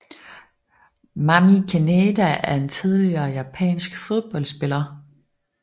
Mami Kaneda er en tidligere japansk fodboldspiller